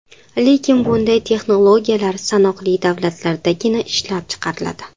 Lekin bunday texnologiyalar sanoqli davlatlardagina ishlab chiqariladi.